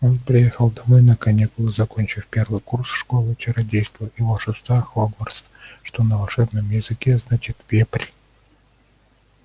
он приехал домой на каникулы закончив первый курс школы чародейства и волшебства хогвартс что на волшебном языке значит вепрь